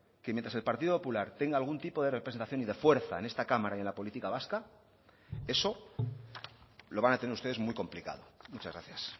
que mientras el partido popular tenga algún tipo de representación y de fuerza en esta cámara y en la política vasca eso lo van a tener ustedes muy complicado muchas gracias